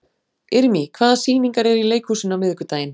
Irmý, hvaða sýningar eru í leikhúsinu á miðvikudaginn?